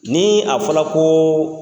Ni a fɔra ko